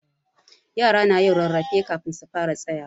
Yara na yin rarrafe kafin su fara tsayawa.